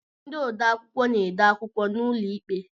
Ndị odeakwụkwọ na-ede akwụkwọ n'ụlọikpe